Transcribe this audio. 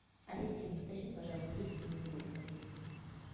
ассистент уточни пожалуйста есть ли мини гольф в отеле